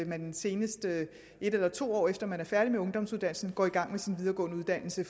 man senest et eller to år efter man er færdig med ungdomsuddannelsen går i gang med sin videregående uddannelse